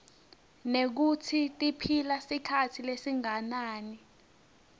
nekutsi tiphila sikhatsi lesinganani